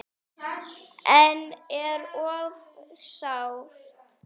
En er of sárt.